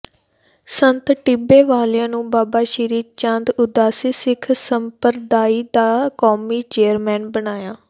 ਸੰਤ ਟਿੱਬੇ ਵਾਲਿਆਂ ਨੂੰ ਬਾਬਾ ਸ੍ਰੀ ਚੰਦ ਉਦਾਸੀ ਸਿੱਖ ਸੰਪਰਦਾਇ ਦਾ ਕੌਮੀ ਚੇਅਰਮੈਨ ਬਣਾਇਆ